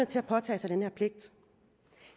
til at påtage sig den her pligt